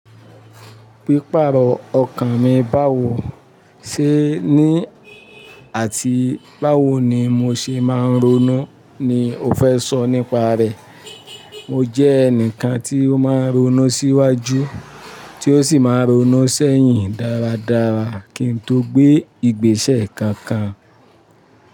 Pípàrọ̀ ọkàn mi báwo ṣe ní àti báwo ni mo ṣe máa ń ronú ni o fẹ́ sọ nípa rẹ̀. Mo jẹ́ ẹnìkan tí ó máa ń ronú sí íwájú tí ó sì máa ń ronú sí sèyìn dáradára kí mo tó gbé ìgbésẹ̀ kankan.